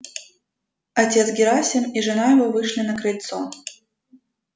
отец герасим и жена его вышли на крыльцо